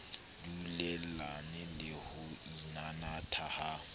dulellane le ho inanatha ha